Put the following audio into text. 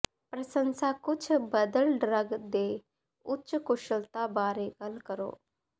ਪ੍ਰਸੰਸਾ ਕੁਝ ਬਦਲ ਡਰੱਗ ਦੇ ਉੱਚ ਕੁਸ਼ਲਤਾ ਬਾਰੇ ਗੱਲ ਕਰੋ